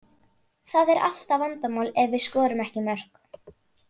Það er alltaf vandamál ef við skorum ekki mörk.